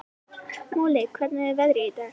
Moli, hvernig er veðrið í dag?